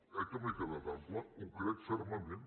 eh que m’he quedat ample ho crec fermament